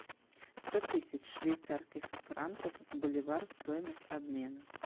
сто тысяч швейцарских франков в боливары стоимость обмена